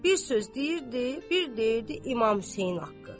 bir söz deyirdi, bir deyirdi İmam Hüseyn haqqı.